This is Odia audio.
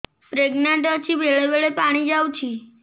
ପ୍ରେଗନାଂଟ ଅଛି ବେଳେ ବେଳେ ପାଣି ଯାଉଛି